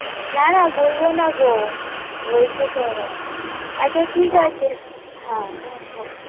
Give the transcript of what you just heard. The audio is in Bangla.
না না ভুলবো না গো বলছি শোনো আচ্ছা ঠিক আছে হ্যাঁ